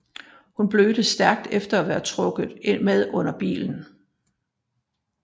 Hun blødte stærkt efter at være trukket med under bilen